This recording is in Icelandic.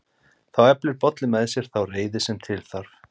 Þá eflir Bolli með sér þá reiði sem til þarf: